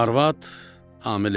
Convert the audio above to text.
Arvad hamilə idi.